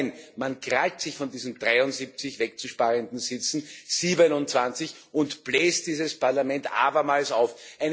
Nein, man krallt sich von diesen 73 wegzusparenden Sitzen 27 und bläst dieses Parlament abermals auf.